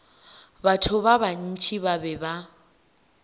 batho ba bantši ba be